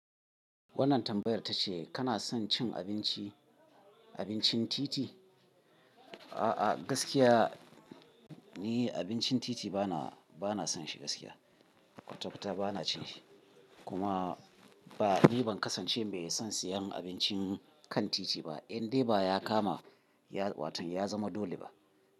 Wannan tambayar ta ce kana son cin abinci, abincin titi? A'a, gaskiya ni abincin titi bana, bana son shi gaskiya. Kwata kwata bana cin shi. Kuma ba ni ban kasance mai son siyan abincin kan titi ba. Indai ba ya kama ya watan ya zama dole ba.